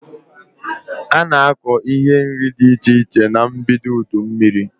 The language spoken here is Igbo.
Ana akọ ihe nri dị iche iche na mbido udu mmiri